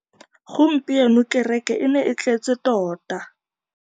Gompieno kêrêkê e ne e tletse tota.